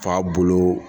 Fa bolo